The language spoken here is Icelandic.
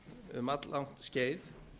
um all langt skeið